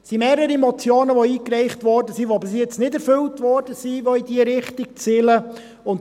Es wurden mehrere Motionen eingereicht, die bisher nicht erfüllt wurden und die in diese Richtung zielen.